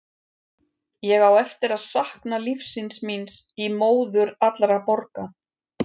Ég á eftir að sakna lífsins míns í móður allra borga.